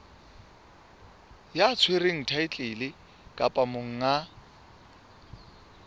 ya tshwereng thaetlele kapa monga